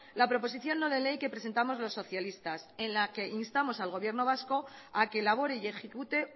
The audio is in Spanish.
la proposición no de ley que presentamos los socialistas en la que instamos al gobierno vasco a que elabore y ejecute